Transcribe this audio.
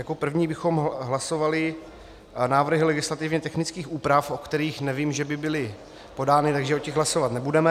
Jako první bychom hlasovali návrhy legislativně technických úprav, o kterých nevím, že by byly podány, takže o těch hlasovat nebudeme.